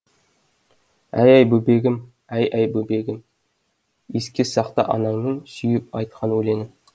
әй бөбегім әй әй бөбегім еске сақта анаңның сүйіп айтқан өлеңін